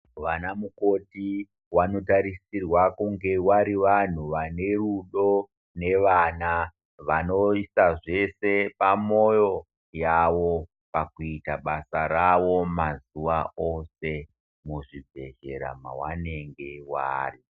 Vana mukoti vanotarisirwa kunge vari vanhu vane rudo nevana vanoisa zvese pamwoyo yavo pakuita basa rawo mazuva ose muzvibhedhlera mwavanenge vari.